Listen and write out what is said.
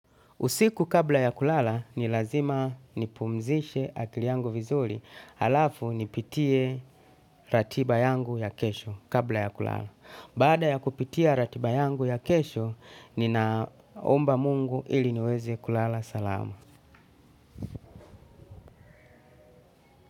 Usiku kabla ya kulala ni lazima nipumzishe akili yangu vizuri alafu nipitie ratiba yangu ya kesho kabla ya kulala. Baada ya kupitia ratiba yangu ya kesho ninaomba mungu ili niweze kulala salama.